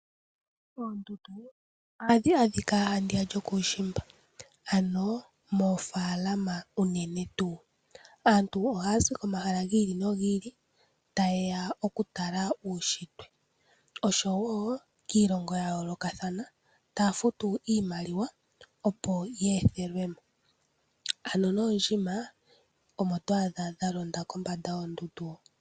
Oondundu ohadhi adhika handiya lyokuushimba ano moofaalama unene tuu. Aantu ohaya zi komahala gi ili nogi ili tayeya oku tala uunshitwe oshowo kiilongo ya yoolokathana taya futu iimaliwa opo ye ethelwe mo ano noondjima omo to adha dha londa kombanda yoondundu ho.